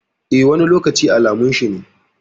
Eh, wani lokaci alamun shi ne.